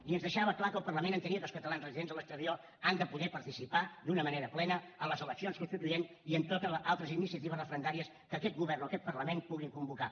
i ens deixava clar que el parlament entenia que els catalans residents a l’exterior han de poder participar d’una manera plena en les eleccions constituents i en totes les altres iniciatives referendàries que aquest govern o aquest parlament puguin convocar